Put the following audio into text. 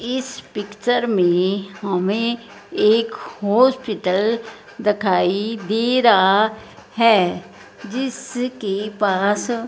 इस पिक्चर में हमें एक हॉस्पिटल दिखाई दे रहा है जिसके पास--